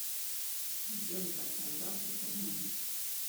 сделай заказ завтрака в номер